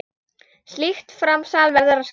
Slíkt framsal verður að skrá.